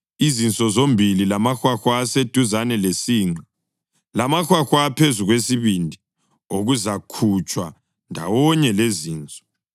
izinso zombili, lamahwahwa aseduzane lesinqe, lamahwahwa aphezu kwesibindi okuzakhutshwa ndawonye lezinso.